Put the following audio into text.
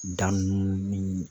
Dan ninnu ni